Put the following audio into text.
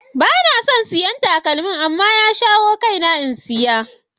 Ba na son siyan takalmin. amma ya shawo kaina in saya.